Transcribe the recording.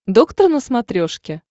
доктор на смотрешке